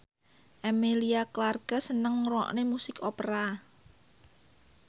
Emilia Clarke seneng ngrungokne musik opera